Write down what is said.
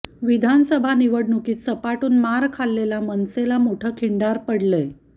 विधानसभा निव़डणुकीत सपाटून मार खाल्लेला मनसेला मोठं खिंडार पडलंय